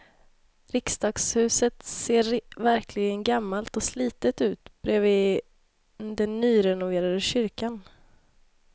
Riksdagshuset ser verkligen gammalt och slitet ut bredvid den nyrenoverade kyrkan.